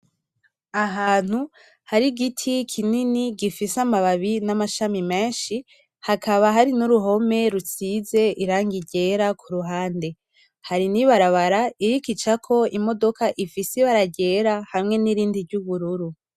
Ahantu hari igiti kinini gifise amababi n'amashami menshi hakaba hari n'uruhome rusize irangi ryera kuruhande, hari n'ibarabara iriko icako imodoka ifise ibara ryera hamwe nirindi ryubururu.